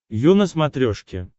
ю на смотрешке